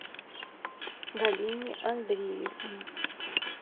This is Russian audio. галине андреевне